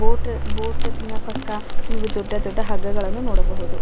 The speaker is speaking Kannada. ಬೋಟ್ ಬೋಟ್ ಇನ ಪಕ್ಕ ನೀವು ದೊಡ್ಡ ದೊಡ್ಡ ಹಗ್ಗಗಳನ್ನು ನೋಡಬಹುದು--